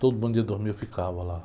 Todo, eu ficava lá.